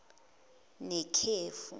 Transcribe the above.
nekhefu